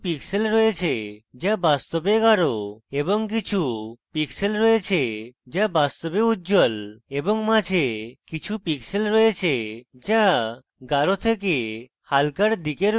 এই bar কিছু pixels রয়েছে যা বাস্তবে গাঢ় এবং কিছু pixels রয়েছে যা বাস্তবে উজ্জ্বল এবং মাঝে কিছু pixels রয়েছে যা গাঢ় থেকে হালকার দিকে রয়েছে